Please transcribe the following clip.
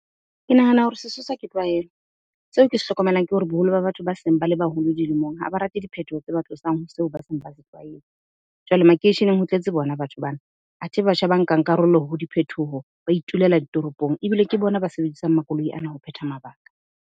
Ke nahana hore sesosa ke tlwaelo. Seo ke se hlokomelang ke hore boholo ba batho ba seng ba le baholo dilemong ha ba rate diphethoho tse ba tlosang ho seo ba seng ba se tlwaetse. Jwale makeisheneng ho tletse bona batho bana athe batjha ba nkang karolo ho diphethoho ba itulela ditoropong ebile ke bona ba sebedisang makoloi ana ho phetha mabaka.